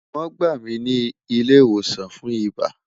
Won gba mi ni ile iwosan fun iba